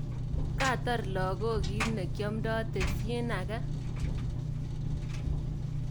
Katar lakok kitnekoamdo tesin age.